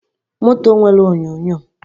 Moto nwere enyonyo